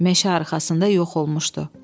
Meşə arxasında yox olmuşdu.